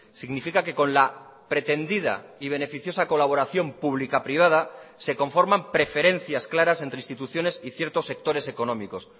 significa que con la pretendida y beneficiosa colaboración pública privada se conforman preferencias claras entre instituciones y ciertos sectores económicos